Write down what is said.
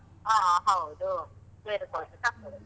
ಹಾ ಹೌದು, ಬೇರೆ ಕೊಡ್ಬೇಕ್ಕಾಗ್ತದೆ.